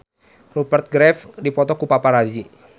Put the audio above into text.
Rupert Graves dipoto ku paparazi